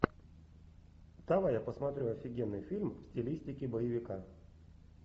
давай я посмотрю офигенный фильм в стилистике боевика